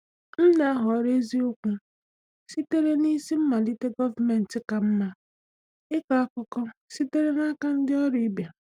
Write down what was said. M na-ahọrọ eziokwu sitere n’isi mmalite gọọmentị kama ịkọ akụkọ sitere n’aka ndị ọrụ ibe.